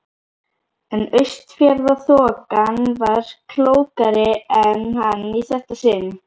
En Austfjarðaþokan var klókari en hann í þetta sinn.